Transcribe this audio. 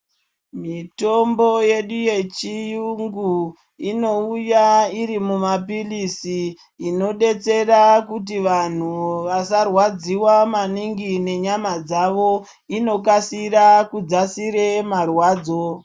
Mitombo yedu yechiyungu inouya iri mumapilisi inodetsera kuti vanhu vasarwadziwa maningi nenyama dzavo. Inokasira kudzakisa marwadzo.